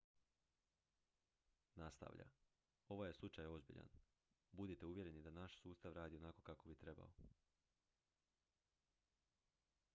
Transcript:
"nastavlja: "ovaj je slučaj ozbiljan. budite uvjereni da naš sustav radi onako kako bi trebao.